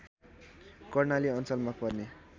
कर्णाली अञ्चलमा पर्ने